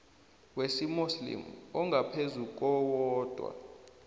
wesimuslimu ongaphezu kowodwa